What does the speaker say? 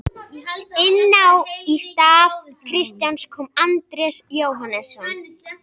Inná í stað Kristjáns kom Andrés Jóhannesson.